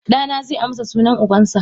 Dana ze amsa sunan ubansa.